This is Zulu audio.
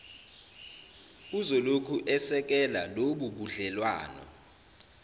uzolokhu esekele lobubudlelwano